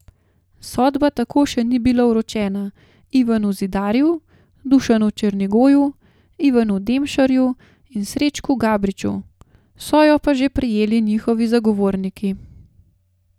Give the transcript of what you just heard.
Sodba tako še ni bila vročena Ivanu Zidarju, Dušanu Černigoju, Ivanu Demšarju in Srečku Gabriču, so jo pa že prejeli njihovi zagovorniki.